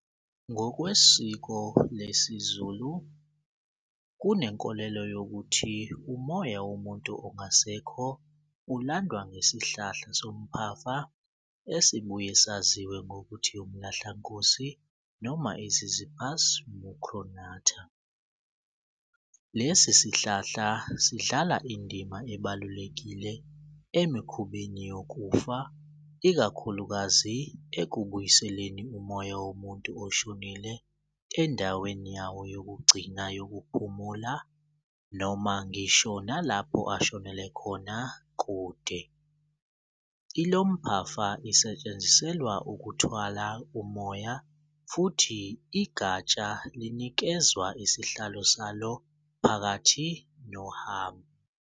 Ngokwesiko lesizulu kunenkolelo yokuthi umoya womuntu ongasekho ulandwa ngesihlahla sompafa esibuye saziwe ngokuthi umlahlankosi noma i-Ziziphus mucronata. Lesi sihlahla sidlala indima ebalulekile emikhubeni yokufa, ikakhulukazi ekubuyiseleni umoya womuntu oshonile endaweni yawo yokugcina yokuphumula noma ngisho nalapho ashonele khona kude. Ilomphafa isetshenziselwa ukuthwala umoya futhi igatsha linikezwa isihlalo salo phakathi nohambo.